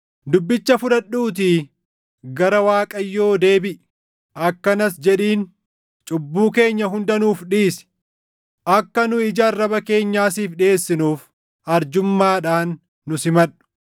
Dubbicha fudhadhuutii gara Waaqayyoo deebiʼi. Akkanas jedhiin: “Cubbuu keenya hunda nuuf dhiisi; akka nu ija arraba keenyaa siif dhiʼeessinuuf, arjummaadhaan nu simadhu.